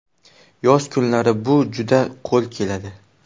Yoz kunlarida bu juda qo‘l keladi.